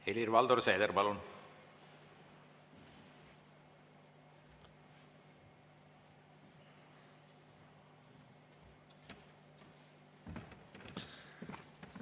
Helir-Valdor Seeder, palun!